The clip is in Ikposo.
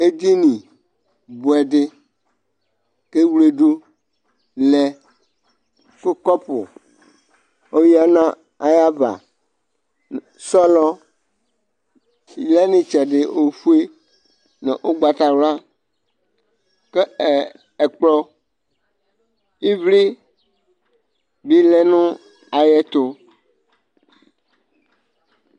Eɖinibuɛɖi k'ewleɖʋ lɛkʋ kɔpʋ oya n'ayavaSɔɔlɔɖi lɛ itsɛɖi ofue nʋ ʋgbatawluak'ɛkplɔ, ivliibi lɛ ayɛtʋ